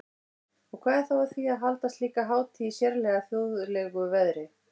Og hvað er þá að því að halda slíka hátíð í sérlega þjóðlegu veðri?